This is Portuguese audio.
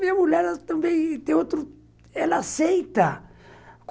Minha mulher ela também, tem outro, ela aceita.